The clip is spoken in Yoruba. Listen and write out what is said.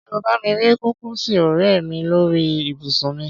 Ṣé o bá mi rí kúkìsì Orea mi lórí ibùsùn mi?